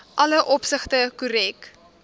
alle opsigte korrek